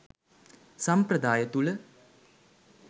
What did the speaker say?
සම්ප්‍රදාය තුළ